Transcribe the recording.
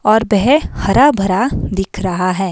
और बह हरा भरा दिख रहा है।